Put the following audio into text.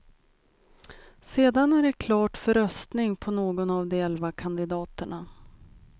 Sedan är det klart för röstning på någon av de elva kandidaterna.